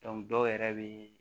dɔw yɛrɛ bɛ